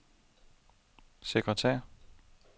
sekretær